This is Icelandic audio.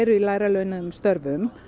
í lægra launuðum störfum